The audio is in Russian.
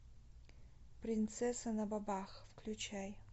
принцесса на бобах включай